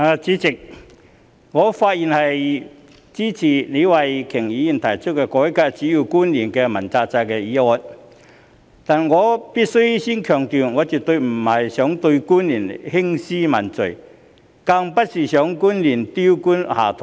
主席，我發言支持李慧琼議員提出"改革主要官員問責制"的議案，但我首先必須強調，我絕非要對官員興師問罪，亦不希望官員丟官下台。